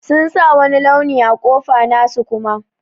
Sun sa wani launi a kofa nasu Kuma.